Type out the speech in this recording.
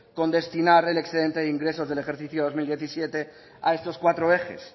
con destinar el excedente de ingresos del ejercicio del dos mil diecisiete a estos cuatro ejes